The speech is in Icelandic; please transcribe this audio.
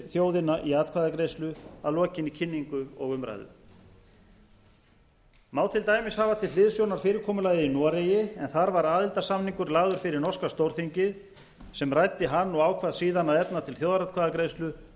þjóðina í atkvæðagreiðslu að lokinni kynningu og umræðu má til dæmis hafa til hliðsjónar fyrirkomulagið í noregi en þar var aðildarsamningur lagður fyrir norska stórþingið sem ræddi hann og ákvað síðan að efna til þjóðaratkvæðagreiðslu